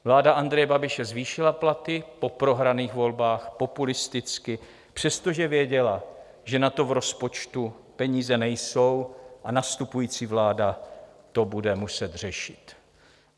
Vláda Andreje Babiše zvýšila platy po prohraných volbách populisticky, přestože věděla, že na to v rozpočtu peníze nejsou, a nastupující vláda to bude muset řešit.